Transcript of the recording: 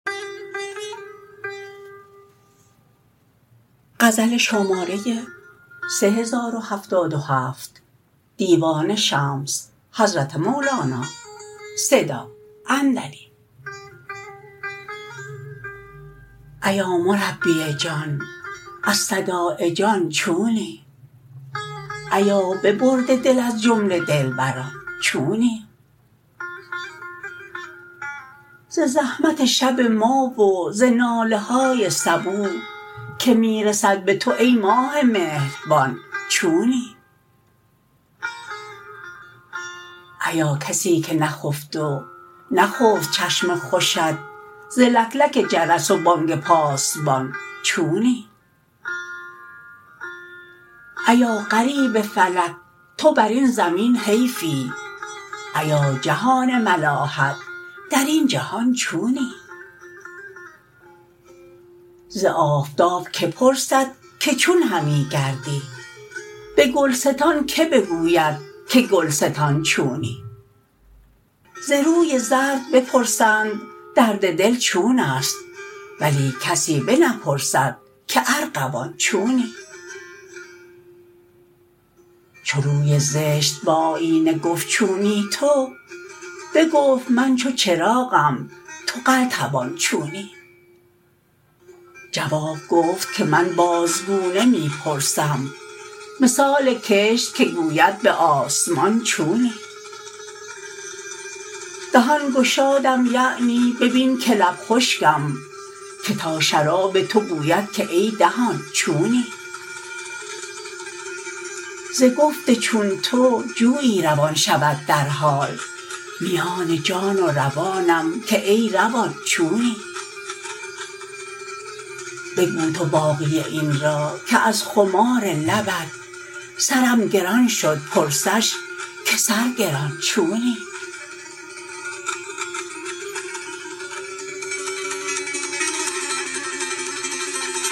ایا مربی جان از صداع جان چونی ایا ببرده دل از جمله دلبران چونی ز زحمت شب ما و ز ناله های صبوح که می رسد به تو ای ماه مهربان چونی ایا کسی که نخفت و نخفت چشم خوشت ز لکلک جرس و بانگ پاسبان چونی ایا غریب فلک تو بر این زمین حیفی ایا جهان ملاحت در این جهان چونی ز آفتاب کی پرسد که چون همی گردی به گلستان که بگوید که گلستان چونی ز روی زرد بپرسند درد دل چونست ولی کسی بنپرسد که ارغوان چونی چو روی زشت به آیینه گفت چونی تو بگفت من چو چراغم تو قلتبان چونی جواب گفت که من بازگونه می پرسم مثال کشت که گوید به آسمان چونی دهان گشادم یعنی ببین که لب خشکم که تا شراب تو گوید که ای دهان چونی ز گفت چون تو جویی روان شود در حال میان جان و روانم که ای روان چونی بگو تو باقی این را که از خمار لبت سرم گران شد پرسش که سرگران چونی